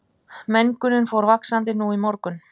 Mengunin fór vaxandi nú í morgun